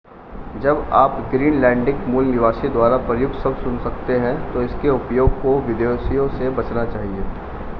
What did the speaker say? जब आप ग्रीनलैंडिक मूल निवासी द्वारा प्रयुक्त शब्द सुन सकते हैं तो इसके उपयोग को विदेशियों से बचना चाहिए